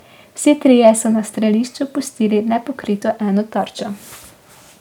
Vsi trije so na strelišču pustili nepokrito eno tarčo.